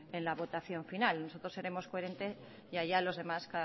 en la votación final nosotros seremos coherentes y allá los demás